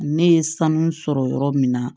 Ne ye sanu sɔrɔ yɔrɔ min na